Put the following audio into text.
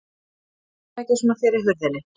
Stattu ekki svona fyrir hurðinni!